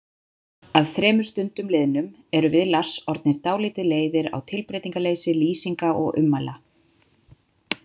Að þremur stundum liðnum erum við Lars orðnir dálítið leiðir á tilbreytingarleysi lýsinga og ummæla.